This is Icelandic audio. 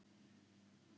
Ég hef reynt þetta áður.